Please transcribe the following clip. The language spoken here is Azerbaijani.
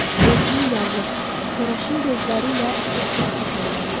Özünün yazıq, koraşın gözləri ilə ətrafa boylandı.